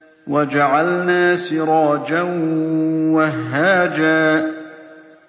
وَجَعَلْنَا سِرَاجًا وَهَّاجًا